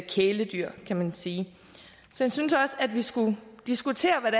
kæledyr kan man sige så jeg synes også at vi skulle diskutere hvad